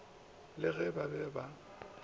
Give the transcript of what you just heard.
le ge ba be ba